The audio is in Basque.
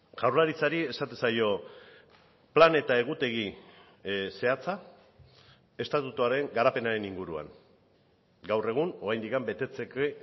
jaurlaritzari esaten zaio plan eta egutegi zehatza estatutuaren garapenaren inguruan gaur egun oraindik betetzeke